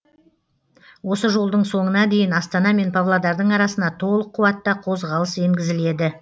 осы жолдың соңына дейін астана мен павлодардың арасына толық қуатта қозғалыс енгізіледі